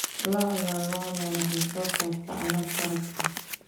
Lo'da lo'da waxay soo saartaa alaab harag ah.